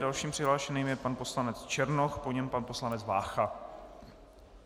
Dalším přihlášeným je pan poslanec Černoch, po něm pan poslanec Vácha.